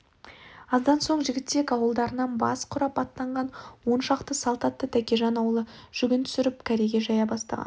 аздан соң жігітек ауылдарынан бас құрап аттанған он шақты салт атты тәкежан аулы жүгін түсіріп кереге жая бастаған